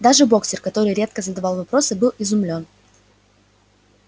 даже боксёр который редко задавал вопросы был изумлён